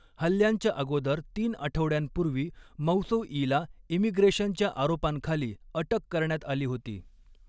हल्ल्यांच्या अगोदर तीन आठवड्यांपूर्वी मौसौईला इमिग्रेशनच्या आरोपांखाली अटक करण्यात आली होती.